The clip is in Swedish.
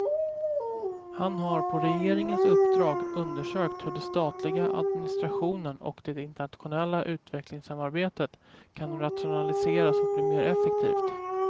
Han har på regeringens uppdrag undersökt hur den statliga administrationen och det internationella utvecklingssamarbetet kan rationaliseras och bli mer effektivt.